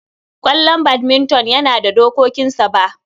Ƙwallon badminton yana da dokokinsa. Ba